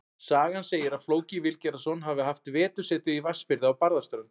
Sagan segir að Flóki Vilgerðarson hafi haft vetursetu í Vatnsfirði á Barðaströnd.